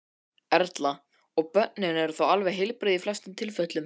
Erla: Og börnin eru þá alveg heilbrigð í flestum tilfellum?